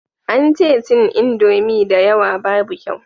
An ce cin indomi da yawa babu kyau